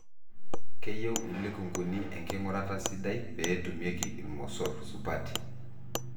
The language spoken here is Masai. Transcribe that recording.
keyieu ilikunguni enkingurata sidai peetumieki ilmosorr supati